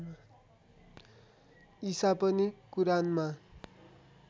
ईशा पनि कुरानमा